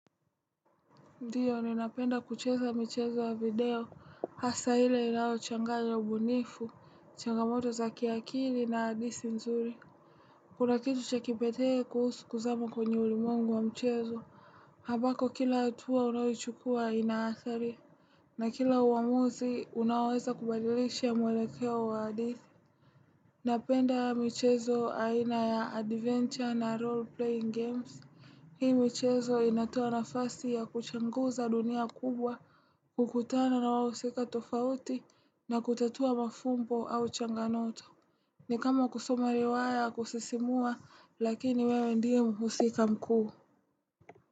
Ndio ninapenda kucheza michezo ya video hasaa ile inayo changanya mbunifu, changamoto za kiakili na hadithi nzuri. Kuna kitu chakipekee kuhusu kuzama kwenye ulimwengu wa mchezo. Habako kila hatua unayoichukua ina adhari. Na kila uamuzi unaweza kubadilisha mwelekea wa hadithi. Napenda michezo aina ya adventure na role playing games. Hii michezo inatoa nafasi ya kuchanguza dunia kubwa hukutana na wahusika tofauti na kutatua mafumbo au changamoto. Ni kama kusoma riwaya ya kusisimua lakini wewe ndiye mhusika mkuu.